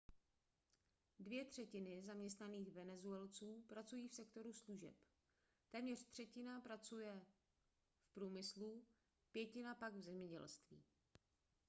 dvě třetiny zaměstnaných venezuelců pracují v sektoru služeb téměř čtvrtina pracuje v průmyslu pětina pak v zemědělství